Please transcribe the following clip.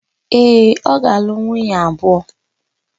Ee, ọ ga-alụ nwunye abụọ.